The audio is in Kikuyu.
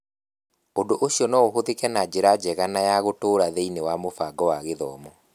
Ũndũ ũcio no ũhũthĩke na njĩra njega na ya gũtũũra thĩinĩ wa mũbango wa gĩthomo.